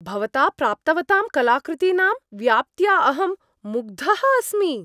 भवता प्राप्तवतां कलाकृतीनां व्याप्त्या अहं मुग्धः अस्मि।